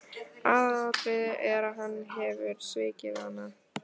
Aðalatriðið er að hann hefur svikið hana.